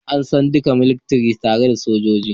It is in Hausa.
An san dukan militiri tare da "Sojoji"